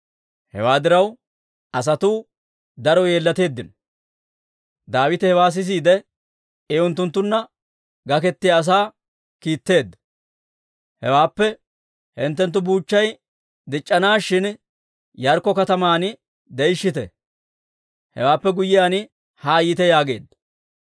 Hewaa diraw, asatuu daro yeellateeddino. Daawite hewaa sisiide, I unttunttunna gakettiyaa asaa kiitteedda. Hewaappe, «Hinttenttu buuchchay dic'c'anaashin, Yaarikko kataman de'ishshite; hewaappe guyyiyaan haa yiite» yaageedda.